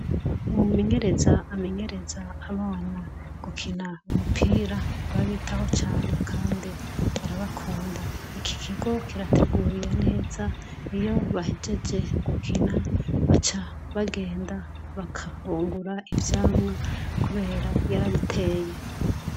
Umumenyereza amenyereza abana gukina umupira arabitaho cane kandi arabakunda ikikigo kirateguye neza iyo bahejeje gukina baca bagenda bagafungura ivyamwa kubera yarabiteye